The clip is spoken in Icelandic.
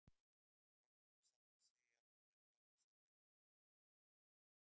Óhætt er samt að segja að hún er fjarri sannleikanum.